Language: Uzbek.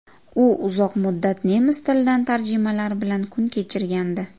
U uzoq muddat nemis tilidan tarjimalar bilan kun kechirgandi.